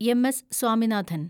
M. S. Swaminathan